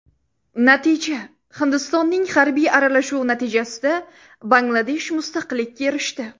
Natija Hindistonning harbiy aralashuvi natijasida Bangladesh mustaqillikka erishdi.